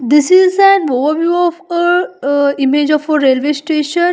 This is an ore of image of a railway station.